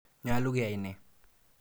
Nyalu keyai ne?